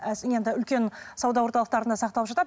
енді үлкен сауда орталықтарында сақталып жатады